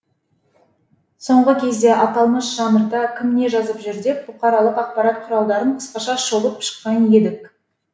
соңғы кезде аталмыш жанрда кім не жазып жүр деп бұқаралық ақпарат құралдарын қысқаша шолып шыққан едік